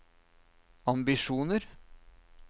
ambisjoner